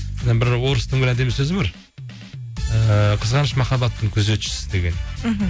бір орыстың бір әдемі сөзі бар ііі қызғаныш махаббаттың күзетшісі деген мхм